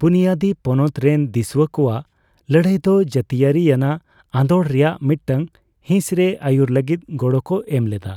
ᱵᱩᱱᱭᱟᱹᱫᱤ ᱯᱚᱱᱚᱛ ᱨᱮᱱ ᱫᱤᱥᱩᱣᱟᱹ ᱠᱚᱣᱟᱜ ᱞᱟᱹᱲᱦᱟᱹᱭ ᱫᱚ ᱡᱟᱹᱛᱤᱭᱟᱹᱨᱤᱭᱱᱟᱜ ᱟᱸᱫᱳᱲ ᱨᱮᱭᱟᱜ ᱢᱤᱫᱴᱟᱝ ᱦᱤᱸᱥᱨᱮ ᱟᱹᱨᱩᱭ ᱞᱟᱹᱜᱤᱫ ᱜᱚᱲᱚᱠᱚ ᱮᱢᱞᱮᱫᱟ ᱾